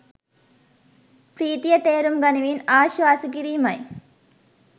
ප්‍රීතිය තේරුම් ගනිමින් ආශ්වාස කිරීමයි